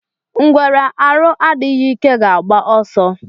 Ngwere arụ adịghị ike ga agba ọsọ.